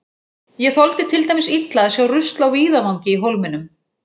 Ég þoldi til dæmis illa að sjá rusl á víðavangi í Hólminum.